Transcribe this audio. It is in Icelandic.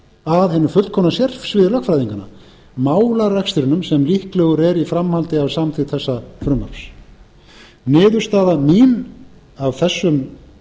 að hinu fullkomna sérsviði lögfræðinganna málarekstrinum sem líklegur er í framhaldi af samþykkt þessa frumvarps niðurstaða mín af þessum